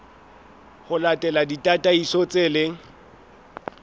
ho latela ditataiso tse leng